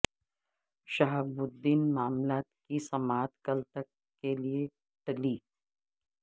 شہاب الدین معاملے کی سماعت کل تک کیلئے ٹلی